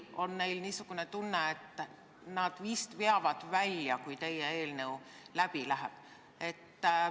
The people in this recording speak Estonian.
Kas neil on tunne, et äkki nad veavad välja, kui teie eelnõu läbi läheb?